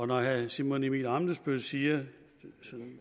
når herre simon emil ammitzbøll siger